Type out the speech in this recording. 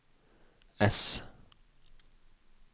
ess